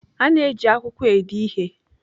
A na-eji akwụkwọ ede ihe.